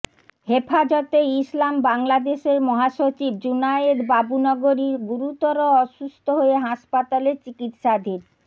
হেফাজতে ইসলাম বাংলাদেশের মহাসচিব জুনায়েদ বাবুনগরী গুরুতর অসুস্থ হয়ে হাসপাতালে চিকিৎসাধীন